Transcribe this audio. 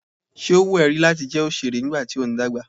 Ṣé ó wù ẹ́ rí láti jẹ́ òṣèré nígbà tí ó ń dàgbà?